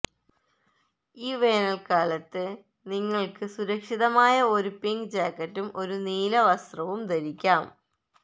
ഈ വേനൽക്കാലത്ത് നിങ്ങൾക്ക് സുരക്ഷിതമായ ഒരു പിങ്ക് ജാക്കറ്റും ഒരു നീല നീല വസ്ത്രവും ധരിക്കാം